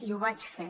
i ho vaig fer